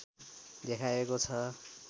देखाएको छ